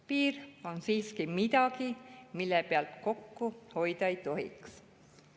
Piir on siiski midagi, mille pealt kokku hoida ei tohiks.